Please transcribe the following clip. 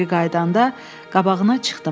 Geri qayıdanda qabağına çıxdım.